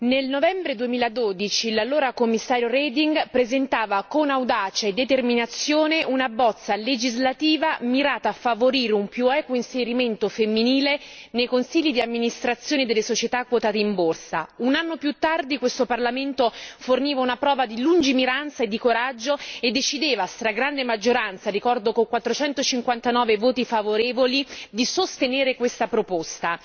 Signor Presidente, onorevoli colleghi, nel novembre 2012 l'allora Commissario Reding presentava con audacia e determinazione una bozza legislativa mirata a favorire un più equo inserimento femminile nei consigli di amministrazione delle società quotate in borsa. Un anno più tardi questo Parlamento forniva una prova di lungimiranza e di coraggio e decideva, a stragrande maggioranza ricordo con 459 voti favorevoli di sostenere questa proposta.